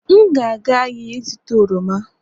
M ga-aga ahịa ịzụta oroma